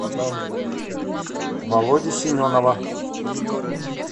володи семенова